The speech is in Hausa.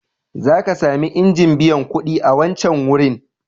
Za ka sami injin biyan kuɗi a wancan wurin..